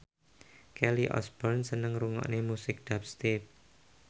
Kelly Osbourne seneng ngrungokne musik dubstep